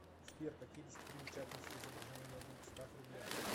сбер какие достопримечательности изображены на двухстах рублях